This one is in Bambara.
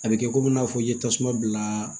A bɛ kɛ komi i n'a fɔ i ye tasuma bila